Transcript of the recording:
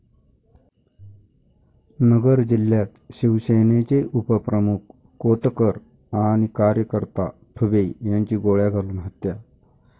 नगर जिल्ह्यात शिवसेनेचे उपप्रमुख कोतकर आणि कार्यकर्ता ठुबे यांची गोळ्या घालून हत्या